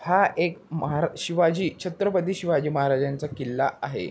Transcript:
हा एक महा शिवाजी छत्रपती शिवाजी महाराजांचा किल्ला आहे.